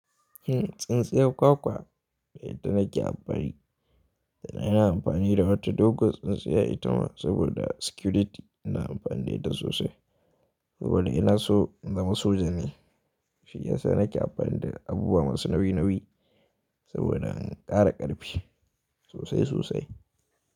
Hmm, tsintsiyar kwakwa da ita nake amfani, da na yana amfani da wata doguwar tsintsiyar itama saboda security ina amfani da ita sosai. Saboda ina so in zama soja ne shiyasa nake amfani da abubuwa masu nauyi nauyi saboda in kara ƙarfi sosai sosai.